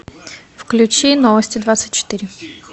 включи новости двадцать четыре